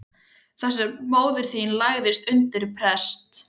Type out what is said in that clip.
Þar sem móðir þín lagðist undir prest.